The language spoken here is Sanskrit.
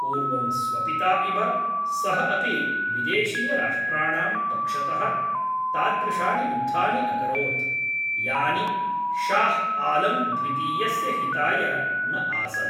पूर्वं स्वपिता इव, सः अपि विदेशीयराष्ट्राणां पक्षतः तादृशानि युद्धानि अकरोत्, यानि शाह् आलम् द्वितीयस्य हिताय न आसन्।